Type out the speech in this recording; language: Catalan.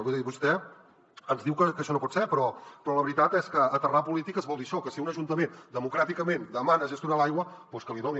vull dir vostè ens diu que això no pot ser però la veritat és que aterrar polítiques vol dir això que si un ajuntament democràticament demana gestionar l’aigua doncs que li doni